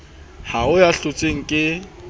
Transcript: ha ho ya hlotseng e